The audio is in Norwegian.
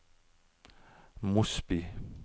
Mosby